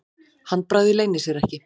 Handbragðið leynir sér ekki.